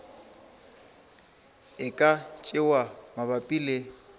e ka tšewa mabapi le